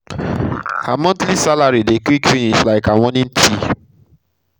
her monthly salary dey salary dey quick finish like her morning tea